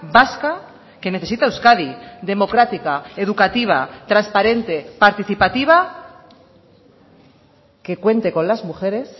vasca que necesita euskadi democrática educativa transparente participativa que cuente con las mujeres